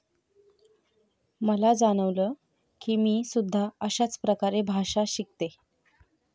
मला जाणवलं कि मी सुद्धा अशाच प्रकारे भाषा शिकते.